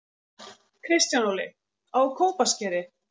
Kristján Óli: Á Kópaskeri